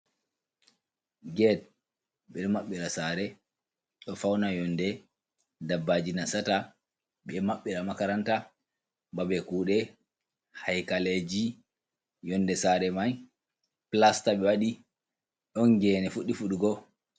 Get ɓe ɗo mabɓira sare ɗo fauna yonde daɓɓaji nasata, ɓe maɓɓira makaranta, babe kuɗe, haikaleji, yonde sare mai plasta ɓe waɗi ɗon gene fuɗdi fuɗugo.